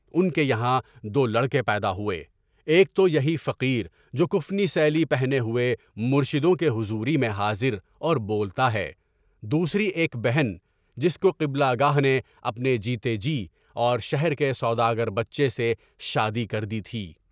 اُن کے یہاں دو لڑکے پیدا ہوئے، ایک تو یہی فقیر جو کفنی سیلی پہنے ہوئے مرشدوں کے حضور میں حاضر اور بولتا ہے، دوسری ایک بہن جس کو قبلہ گاہ نے اپنے جیتے جی اور شہر کے سوداگر سے شادی کر دی تھی۔